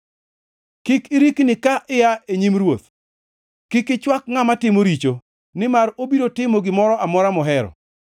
Kik irikni ka ia e nyim ruoth. Kik ichwak ngʼama timo richo, nimar obiro timo gimora amora mohero.